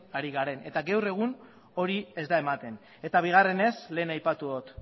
ari garen eta gaur egun hori ez da ematen eta bigarrenez lehen aipatu dut